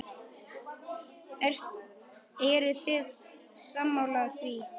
Eruð þið sammála því?